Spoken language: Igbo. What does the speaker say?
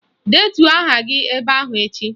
Detuo aha gị ebe ahụ echi!